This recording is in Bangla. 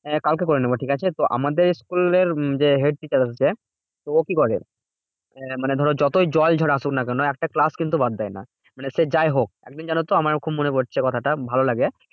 আহ কালকে করে নেবো ঠিকাছে? তো আমাদের school এর যে head teacher আছে, তো ও কি করে? মানে ধরো যতই জল ঝড় আসুক না কেন? একটা class কিন্তু বাদ দেয় না। মানে সে যাইহোক একদিন জানতো খুব মনে পড়ছে কথাটা ভালো লাগে।